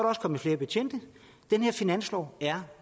også kommet flere betjente den her finanslov er